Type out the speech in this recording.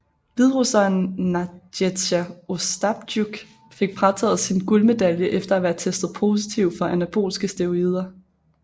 Hviderusseren Nadzeja Ostaptjuk fik frataget sin guldmedalje efter at være testet positiv for anabolske steroider